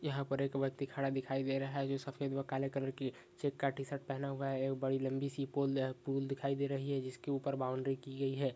यहाँ पर एक ब्यक्ति खड़ा दिखाई दे रहा है जो सफेद वह काले कलर की चेक का टि-शर्ट पहना हुआ है एक बड़ी लम्बी सी पोल आ पूल दिखाई दे रही है जिसके ऊपर बाउंडरी की गयी है।